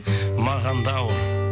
маған да ауыр